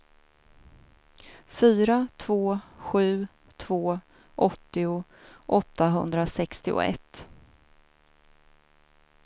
fyra två sju två åttio åttahundrasextioett